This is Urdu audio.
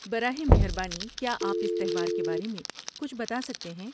براہ مہربانی کیا آپ اس تہوار کے بارے میں کچھ بتا سکتے ہیں؟